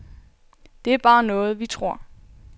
Det er bare noget, vi tror.